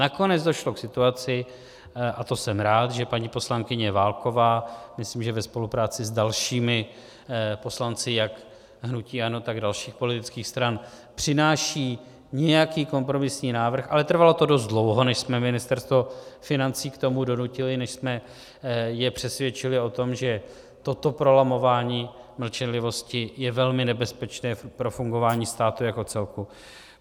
Nakonec došlo k situaci, a to jsem rád, že paní poslankyně Válková, myslím, že ve spolupráci s dalšími poslanci jak hnutí ANO, tak dalších politických stran, přináší nějaký kompromisní návrh, ale trvalo to dost dlouho, než jsme Ministerstvo financí k tomu donutili, než jsme je přesvědčili o tom, že toto prolamování mlčenlivosti je velmi nebezpečné pro fungování státu jako celku.